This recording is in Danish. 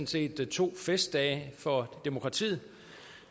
set to festdage for demokratiet